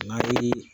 N'a ye